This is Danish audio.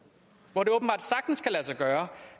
hvor det åbenbart sagtens kan lade sig gøre